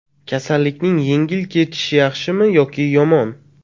Kasallikning yengil kechishi yaxshimi yoki yomon?